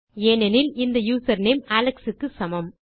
ஏனெனில் இந்த username Alex க்கு சமம்